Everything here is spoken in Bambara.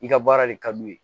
I ka baara de ka d'u ye